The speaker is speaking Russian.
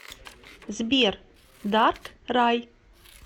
сбер дарк рай